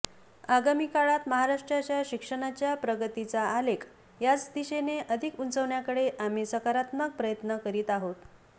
आगामी काळात महाराष्ट्राच्या शिक्षणाच्या प्रगतीचा आलेख याच दिशेने अधिक उंचविण्याकडे आम्ही सकारात्मक प्रयत्न करत आहोत